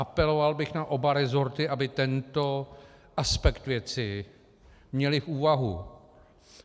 Apeloval bych na oba rezorty, aby tento aspekt věci měly v úvahu.